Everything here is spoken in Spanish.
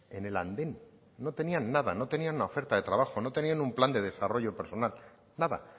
en el andén no tenían nada no tenían una oferta de trabajo no tenían un plan de desarrollo personal nada